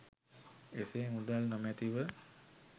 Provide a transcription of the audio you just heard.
එසේ මුදල් නොමැතිව